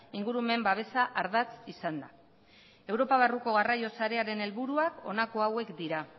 ingurumen babesa ardatz izanda europa barruko garraio sarearen helburuak honako hauek dira